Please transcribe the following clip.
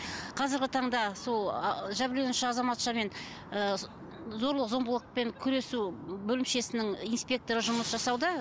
қазіргі таңда сол ы жәбірленуші азаматшамен ы зорлық зомбылықпен күресу бөлімшесінің инспекторы жұмыс жасауда